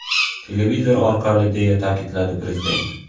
Televizor orqali!” deya ta’kidladi prezident.